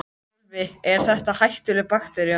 Sölvi: Er þetta hættuleg baktería?